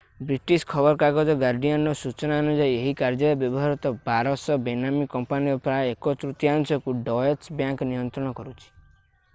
British ଖବରକାଗଜ ଗାର୍ଡିଆନର ସୂଚନା ଅନୁଯାୟୀ ଏହି କାର୍ଯ୍ୟରେ ବ୍ୟବହୃତ 1200 ବେନାମୀ କମ୍ପାନୀର ପ୍ରାୟ ଏକ ତୃତୀୟାଂଶକୁ ଡଏଚ ବ୍ୟାଙ୍କ ନିୟନ୍ତ୍ରଣ କରୁଛି